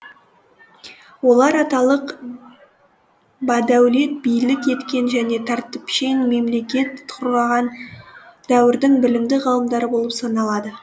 олар аталық бадәулет билік еткен және тәртіпшең мемлекет құрғаған дәуірдің білімді ғалымдары болып саналады